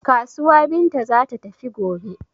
Kasuwa Binta za ta tafi gobe.